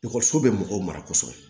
Ekɔliso bɛ mɔgɔw mara kɔsɔbɛ